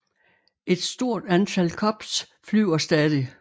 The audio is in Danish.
Et stort antal Cubs flyver stadig